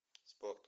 спорт